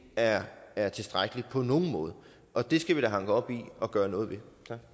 er er tilstrækkeligt på nogen måde og det skal vi da hanke op i og gøre noget ved